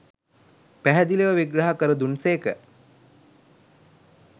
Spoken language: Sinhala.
පැහැදිලිව විග්‍රහ කර දුන් සේක